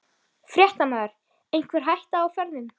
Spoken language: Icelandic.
Fréttamaður: Einhver hætta á ferðum?